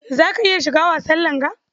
Za ka iya shiga wasan langa?